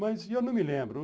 Mas eu não me lembro.